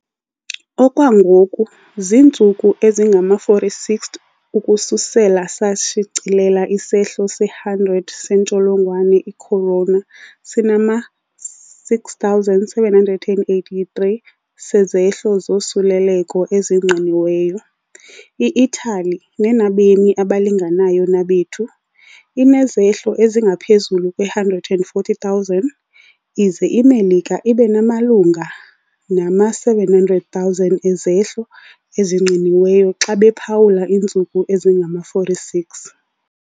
Okwangoku - zintsuku ezingama-46 ukususela sashicilela isehlo se-100 sentsholongwane i-corona - sinama-6,783 sezehlo zosuleleko ezingqiniweyo. I-Italy, nenabemi abalinganayo nabethu, inezehlo ezingaphezulu kwe-140, 000 ize iMelika ibe namalunga nama-700,000 ezehlo ezingqiniweyo xa bephawula iintsuku ezingama-46.